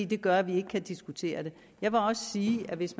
det gør at vi ikke kan diskutere det jeg vil også sige at hvis